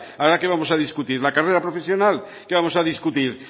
ahora qué vamos a discutir la carrera profesional qué vamos a discutir